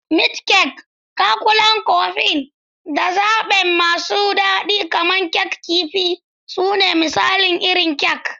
Meat kek, Cakulan Kofin, da zaɓe masu daɗi kamar Kek Kifi su ne misalan irin kek.